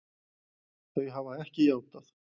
Þau hafa ekki játað.